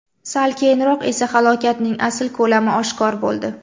Sal keyinroq esa halokatning asl ko‘lami oshkor bo‘ldi.